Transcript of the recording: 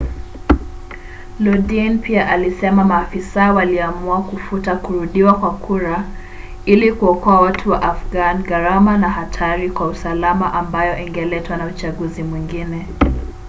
lodin pia alisema maafisa waliamua kufuta kurudiwa kwa kura ili kuokoa watu wa afghan gharama na hatari kwa usalama ambayo ingeletwa na uchaguzi mwengine